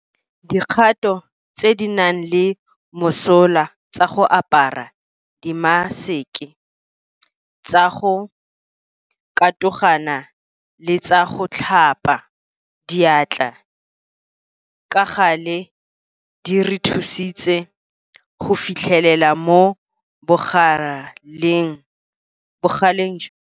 Dikgato tse di nang le mosola tsa go apara dimaseke, tsa go katogana le tsa go tlhapa diatla ka gale di re thusitse go finyelela mo bogaleng jwa ditlamorago tsa leroborobo leno.